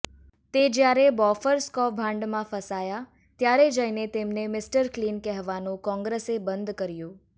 તે જ્યારે બોફોર્સ કૌભાંડમાં ફસાયા ત્યારે જઇને તેમને મિસ્ટર ક્લિન કહેવાનું કોંગ્રેસે બંધ કર્યું